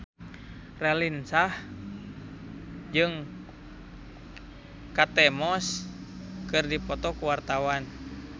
Raline Shah jeung Kate Moss keur dipoto ku wartawan